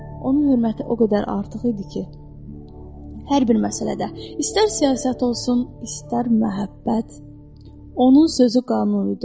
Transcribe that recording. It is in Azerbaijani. Onun hörməti o qədər artıq idi ki, hər bir məsələdə, istər siyasət olsun, istər məhəbbət, onun sözü qanun idi.